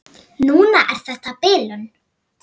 Núna er þetta bilun.